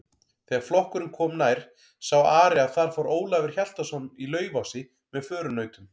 Þegar flokkurinn kom nær sá Ari að þar fór Ólafur Hjaltason í Laufási með förunautum.